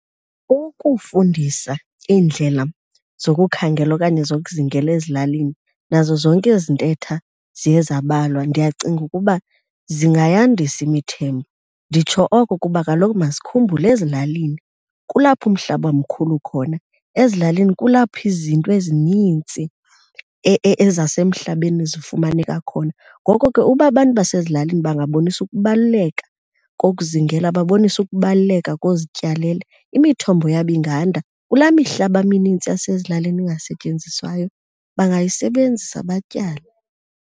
Ukufundisa iindlela zokukhangela okanye zokuzingela ezilalini nazo zonke ezi ntetha ziye zambalwa, ndiyacinga ukuba zingayandisa imithembo. Nditsho oko kuba kaloku masikhumbule ezilalini kulapho umhlaba mkhulu khona, ezilalini kulapho izinto ezinintsi ezasemhlabeni zifumaneka khona. Ngoko ke uba abantu basezilalini bangabonisa ukubaluleka kokuzingela, baboniswe ukubaluleka kozityalela, imithombo yabo inganda. Kulaa mihlaba minintsi yasezilalini ingasetyenziswayo bangayisebenzisa batyale.